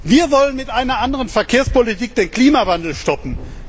Wir wollen mit einer anderen Verkehrspolitik den Klimawandel stoppen.